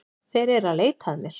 Þeir eru að leita að mér